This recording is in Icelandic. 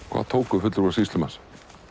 hvað tóku fulltrúar sýslumanns